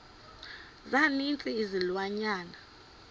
za ninzi izilwanyana